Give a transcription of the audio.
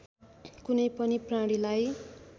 कुनै पनि प्राणीलाई